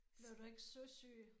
Blev du ikke søsyg?